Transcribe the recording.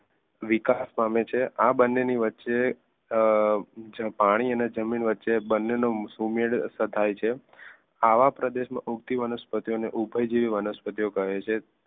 વિકાસ પામે છે આ બંનેની વચ્ચે અ પાણી અને જમીન વચ્ચે બંનેનોસુમેડ થાય છે. આવા પ્રદેશમાં ઉગતી વનસ્પતિ ઓ ને ઉભય જેવી વનસ્પતિઓ કહે છે.